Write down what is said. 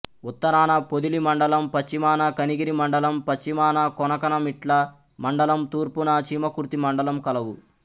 ఉత్తరాన పొదిలి మండలం పశ్చిమాన కనిగిరి మండలం పశ్చిమాన కొనకనమిట్ల మండలం తూర్పున చీమకుర్తి మండలం కలవు